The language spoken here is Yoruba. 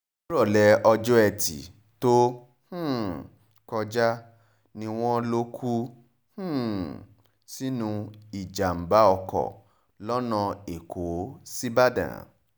nírọ̀lẹ́ ọjọ́ etí furcabee tó um kọjá ni wọ́n lọ kú um sínú ìjàm̀bá oko lọ́nà èkó síbàdàn